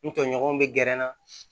N tɔɲɔgɔnw bɛ gɛrɛ n na